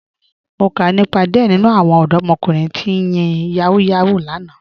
Mo kà nípa díẹ̀ nínu àwọn ọdọ̀mọ̀kùnrin tí ń yin Yahoo Yahoo lánà